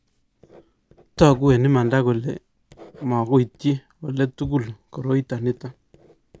Togu eng imanda kole mukuityi ole tugul koroito nito